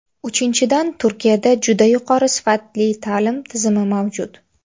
Uchinchidan, Turkiyada juda yuqori sifatli ta’lim tizimi mavjud.